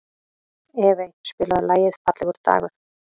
Evey, spilaðu lagið „Fallegur dagur“.